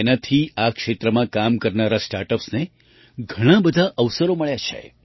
તેનાથી આ ક્ષેત્રમાં કામ કરનારાં સ્ટાર્ટ અપ્સને ઘણા બધા અવસરો મળ્યા છે